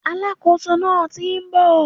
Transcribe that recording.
Alákóso náà ti n bò